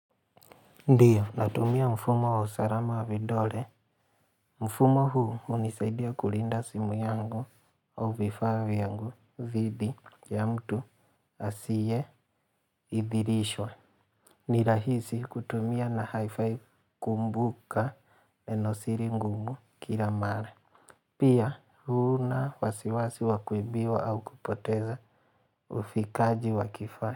Ndio, natumia mfumo wa usarama wa vidole. Mfumo huu hunisaidia kulinda simu yangu au vifaa vyangu dhidi ya mtu asiyeidhirishwa. Nirahisi kutumia na haifai kumbuka nenosiri ngumu kila mara. Pia hunawasiwasi wakuibiwa au kupoteza ufikaji wakifaa.